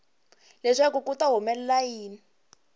leswaku ku ta humelela yini